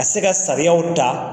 se ka sariyaw ta.